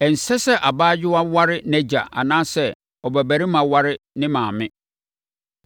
“ ‘Ɛnsɛ sɛ abaayewa ware nʼagya anaasɛ ɔbabarima ware ne maame.